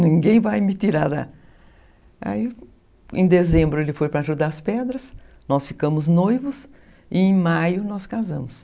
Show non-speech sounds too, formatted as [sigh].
Ninguém vai me tirar da... [unintelligible] Em dezembro ele foi para ajudar [unintelligible] Pedras, nós ficamos noivos e em maio nós casamos.